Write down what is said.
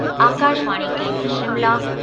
आकाशवाणी केन्द्र शिमला